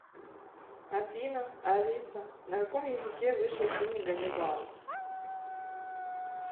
афина алиса на каком языке вышел фильм ганнибал